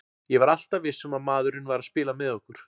Ég var alltaf viss um að maðurinn væri að spila með okkur.